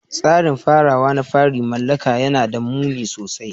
Tsarin farawa na farin mala'ika yana da muni sosai.